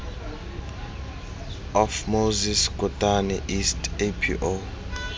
of moses kotane east apo